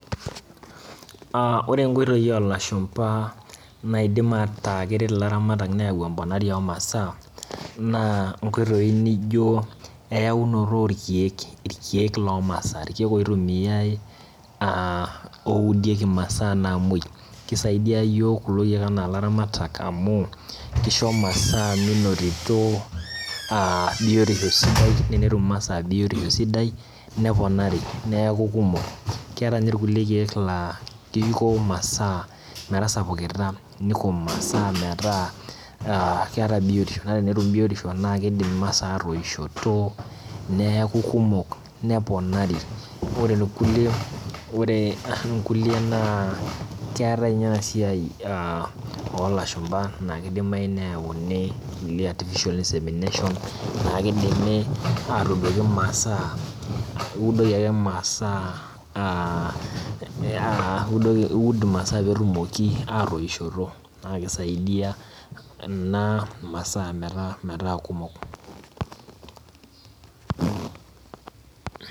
Aa ore nkoitoi olashumba naidim ata keret ilaramatak neyau emponari omasaa na nkoitoi nijo eyaunoto orkiek irkiek lomasaa, irkiek oitumiai aa oudieki masaa namwoi, kisaidia yiok kulo kiek ana laramatak amu kisho masaa minotito aa biotisho sidai, na enetum masaa biotisho sidai neponari neaku kumok, keatae nye rkulie kiek la kiko masaa metasapukita niko masaa meta keeta biotisho, ore enetum biotisho na kidim masaa atoishoto neakubkumok neponari ore irkulie na keetae nye enasia olashumba na kidimayu nayauni kulie artificial insemination na kidimi atuudoki masaa ,iudoki aki masaa aa ee iud masaa petumoki atoishoto na kisaidia ena masaa metaa kumok.